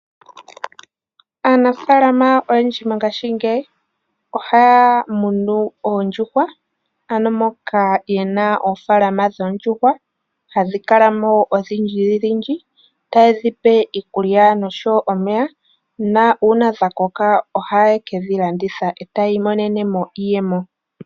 Aanafalama oyendji mongashingeyi ohaya munu oondjuhwa moka ye na oofalama dhoondjuhwa. Ohadhi kala mo odhindjidhindji taa dhi pe iikulya noshowo omeya. Nuuna dha koka ohaye kedhi landitha tayi imonena mo iiyemo.